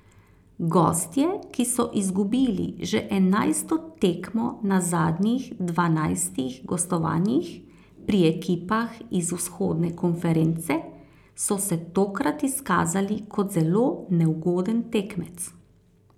Gostje, ki so izgubili že enajsto tekmo na zadnjih dvanajstih gostovanjih pri ekipah iz vzhodne konference, so se tokrat izkazali kot zelo neugoden tekmec.